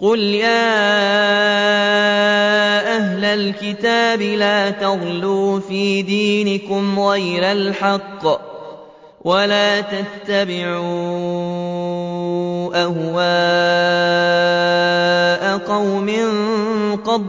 قُلْ يَا أَهْلَ الْكِتَابِ لَا تَغْلُوا فِي دِينِكُمْ غَيْرَ الْحَقِّ وَلَا تَتَّبِعُوا أَهْوَاءَ قَوْمٍ قَدْ